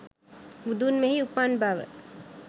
බුදුන් මෙහි උපන් බව